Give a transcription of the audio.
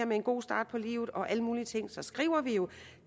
med en god start på livet og alle mulige ting skriver vi jo at